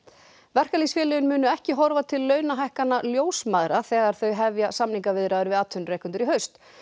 verkalýðsfélögin munu ekki horfa til launahækkana ljósmæðra þegar þau hefja samningaviðræður við atvinnurekendur í haust